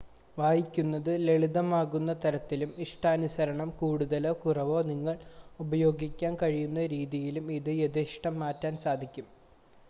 വായിക്കുന്നത് ലളിതമാക്കുന്ന തരത്തിലും ഇഷ്ടാനുസരണം കൂടുതലോ കുറവോ നിറങ്ങൾ ഉപയോഗിക്കാൻ കഴിയുന്ന രീതിയിലും ഇത് യഥേഷ്ടം മാറ്റാൻ സാധിക്കും